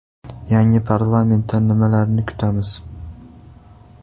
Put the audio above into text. Yangi parlamentdan nimalarni kutamiz?